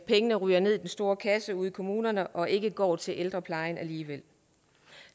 pengene ryger ned i den store kasse ude i kommunerne og ikke går til ældreplejen alligevel